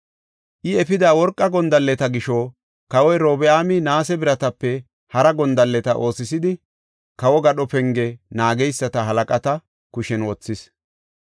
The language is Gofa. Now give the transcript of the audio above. I efida worqa gondalleta gisho kawoy Robi7aami naase biratape hara gondalleta oosisidi kawo gadho penge naageysata halaqata kushen wothis.